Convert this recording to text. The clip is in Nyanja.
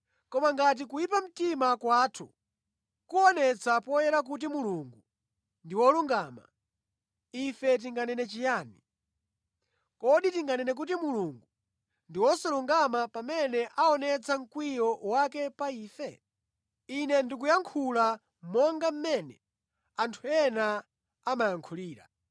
Koma ngati kuyipa mtima kwathu kuonetsa poyera kuti Mulungu ndi wolungama, ife tinganene chiyani? Kodi tinganene kuti Mulungu ndi wosalungama pamene aonetsa mkwiyo wake pa ife? (Ine ndikuyankhula monga mmene anthu ena amayankhulira).